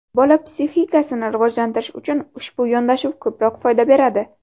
Bola psixikasini rivojlantirish uchun ushbu yondashuv ko‘proq foyda beradi.